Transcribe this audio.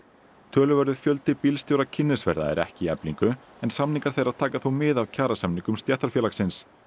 töluverður fjöldi bílstjóra kynnisferða er ekki í Eflingu en samningar þeirra taka þó mið af kjarasamningum stéttarfélagsins